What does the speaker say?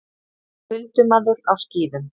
Huldumaður á skíðum!